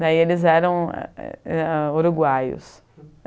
Daí, eles eram é é uruguaios.